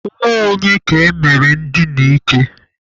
Nwa onye ka emere ndina ike?